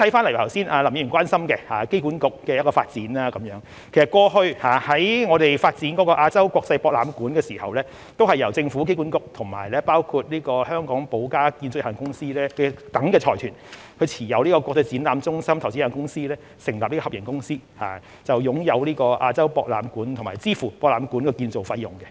對於剛才林議員關心的機管局的一項發展，過去我們發展亞洲國際博覽館時，都是由政府及機管局與包括香港寶嘉建築有限公司等財團持有的國際展覽中心投資有限公司，成立合營公司，擁有亞洲國際博覽館和支付博覽館的建造費用。